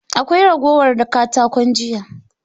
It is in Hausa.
Akwai ragowar katakon jiya?